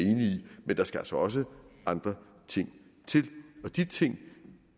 men der skal altså også andre ting til og de ting